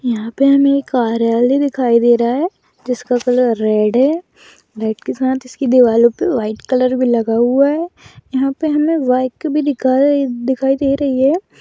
यहाँ पर हमें एक कार्यालय दिखाई दे रहा है जिसका कलर रेड है रेड के साथ इसकी दो अलग व्हाइट कलर भी लगा हुआ है यहाँ पर हमें बाइक भी दिखाई दिखाई दे रही है।